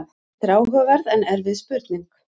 Þetta er áhugaverð en erfið spurning.